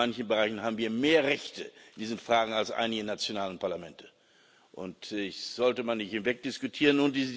In manchen Bereichen haben wir mehr Rechte in diesen Fragen als einige nationale Parlamente, und das sollte man nicht wegdiskutieren.